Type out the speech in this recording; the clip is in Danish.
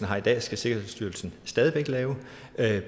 har i dag skal sikkerhedsstyrelsen stadig væk lave